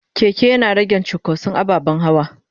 keke Yana rage cunkoson ababen hawa.